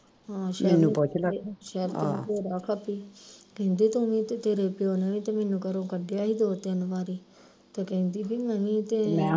ਹਾਂ ਸ਼ੈਰੀ ਤੇ ਬੜਾ ਖੱਪੀ ਕਹਿੰਦੀ ਤੂੰ ਵੀ ਤੇ ਤੇਰੇ ਪਿਉ ਨੇ ਵੀ ਤੇ ਮੈਨੂੰ ਘਰੋਂ ਕੱਢਿਆ ਹੀ ਦੋ ਤਿੰਨ ਵਾਰੀ ਤੇ ਕਹਿੰਦੀ ਬਈ ਨਹੀ ਕਿ